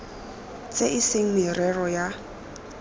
tse e seng merero ya